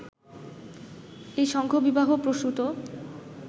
এই সংঘবিবাহ-প্রসূত